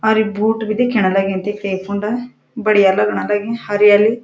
और यू बूट भी दिख्यण लग्युं फूंड बडिया लगण लगीं हरियाली।